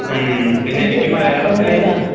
ഉം പിന്നെയെനിക്ക് മലയാളത്തില്